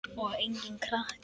Og enginn krakki!